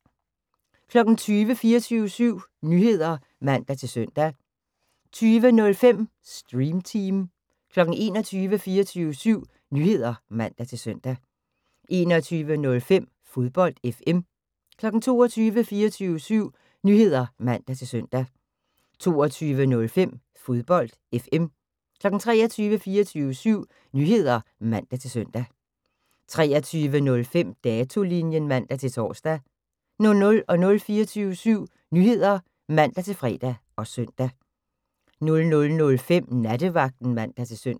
20:00: 24syv Nyheder (man-søn) 20:05: Stream Team 21:00: 24syv Nyheder (man-søn) 21:05: Fodbold FM 22:00: 24syv Nyheder (man-søn) 22:05: Fodbold FM 23:00: 24syv Nyheder (man-søn) 23:05: Datolinjen (man-tor) 00:00: 24syv Nyheder (man-fre og søn) 00:05: Nattevagten (man-søn)